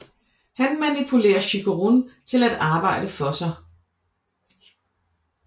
Han manipulerer Chikurun til at arbejde for sig